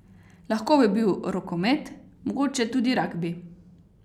Lahko bi bil rokomet, mogoče tudi ragbi...